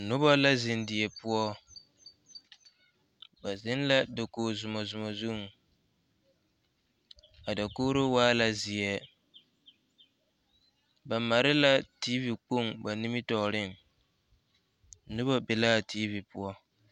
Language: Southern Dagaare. Noba la zeŋ die poɔ ba zeŋ la dakogizoma zoma zuŋ a dakogro waa la zeɛ ba mare la tiivi kpoŋ ba nimitɔɔreŋ noba be la a tiivi poɔ.